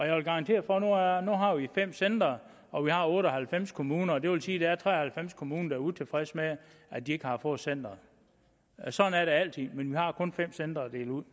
jeg garantere for nu har har vi fem centre og der er otte og halvfems kommuner og det vil sige at der er tre og halvfems kommuner der er utilfredse med at de ikke har fået centeret sådan er det altid men vi har kun fem centre at dele ud